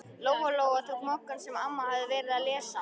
Lóa Lóa tók Moggann sem amma hafði verið að lesa.